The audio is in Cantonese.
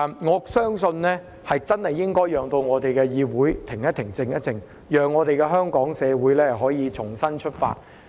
我相信真的要讓議會停一停、靜一靜，讓香港社會可以重新出發。